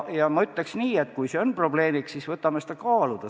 Ja ma ütleks nii, et kui see on probleem, siis võtame selle kaaluda.